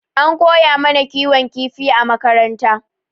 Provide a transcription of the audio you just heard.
An koya mana kiwon kifi a makaranta.